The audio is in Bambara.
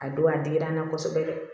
A don a digira n na kosɛbɛ dɛ